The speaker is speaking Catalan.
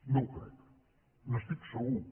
no ho crec n’estic segur